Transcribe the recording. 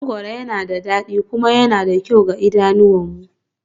Mangoro yana da dadi kuma yana da kyau ga idanunmu